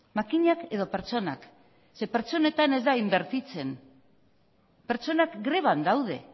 makinak edo pertsonak ze pertsonetan ez da inbertitzen pertsonak greban daude